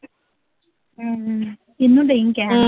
ਹਮ ਉਹਨੂੰ ਕਹਿ